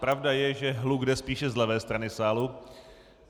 Pravda je, že hluk jde spíše z levé strany sálu.